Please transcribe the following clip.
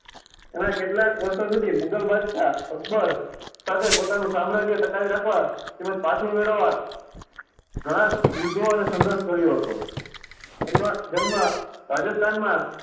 એમણે કેટલાંક વર્ષો સુધી મુગલ બાદશાહ અકબર સાથે પોતાનું સામ્રાજ્ય ટકાવી રાખવા તેમજ પાછું મેળવવા ઘણાં યુદ્ધો અને સંઘર્ષ કર્યો હતો. તેમનો જન્મ રાજસ્થાનમાં